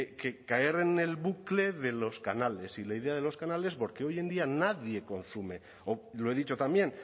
que caer en el bucle de los canales y la idea de los canales porque hoy en día nadie consume o lo he dicho también